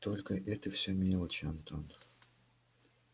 только это все мелочи антон